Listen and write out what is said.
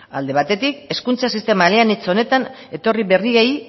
alde batetik hezkuntza sistema eleanitz honetan etorri berriei